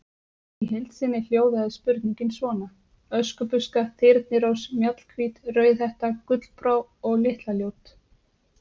Í heild sinni hljóðaði spurningin svona: Öskubuska, Þyrnirós, Mjallhvít, Rauðhetta, Gullbrá- og Litla-Ljót.